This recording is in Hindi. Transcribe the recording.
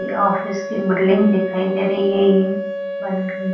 यह ऑफिस की बिल्डिंग दिखाई दे रही है ये --